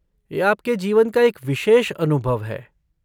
यह आपके जीवन का एक विशेष अनुभव है।